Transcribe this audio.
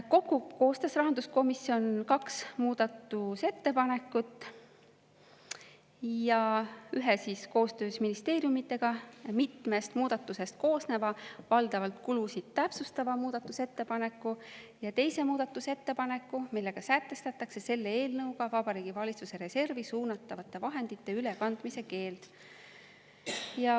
Kokku koostas rahanduskomisjon kaks muudatusettepanekut: koostöös ministeeriumidega ühe mitmest muudatusest koosneva, valdavalt kulusid täpsustava muudatusettepaneku ja teise muudatusettepaneku, mille kohaselt sätestatakse selle eelnõuga Vabariigi Valitsuse reservi suunatavate vahendite ülekandmise keeld.